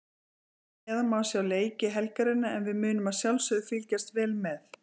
Hér að neðan má sjá leiki helgarinnar en við munum að sjálfsögðu fylgjast vel með.